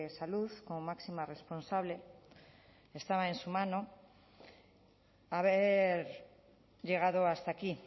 salud como máxima responsable estaba en su mano haber llegado hasta aquí